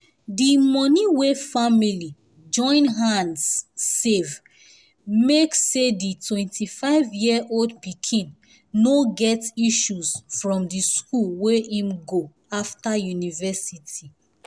the money wey family join hands save make say the 25years old pikin no get issues from the school wey him go after university